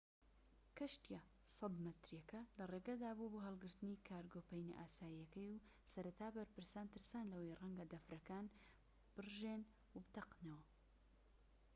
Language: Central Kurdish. کەشتیە 100 مەتریەکە لە ڕێگەدا بوو بۆ هەڵگرتنی کارگۆ پەینە ئاساییەکەی و سەرەتا بەرپرسان ترسان لەوەی ڕەنگە دەفرەکان بڕژێن و بتەقێتەوە